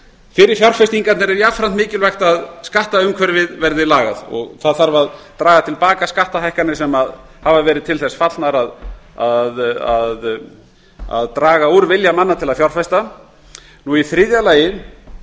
fyrir fjárfestingarnar er jafnframt mikilvægt að skattumhverfið verði lagað og það þarf að draga til baka skattahækkanir sem hafa verið til þess fallnar að draga úr vilja manna til að fjárfesta í þriðja lagi